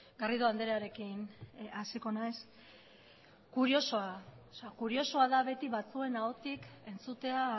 garrido andrearekin hasiko naiz kuriosoa kuriosoa da beti batzuen ahotik entzutea